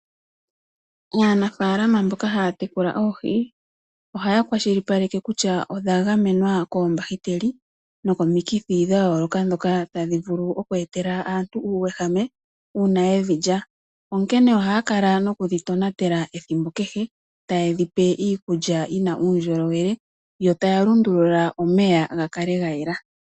Aanafaalama mboka haa tekula oohi, ohaa kwashilipaleke kutya odha gamenwa koombahiteli nokomikithi dha yooloka ndhoka tadhi vulu oku etela aantu uuyehame uuna yedhi lya. Ohaa kala nokudhi tonatela ethimbo kehe ta ye dhi pe iikulya yi na uundjolowele yo taa lundulula omeya gakale ga yela.